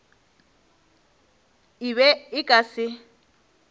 e be e ka se